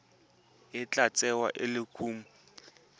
tla tsewa e le kumo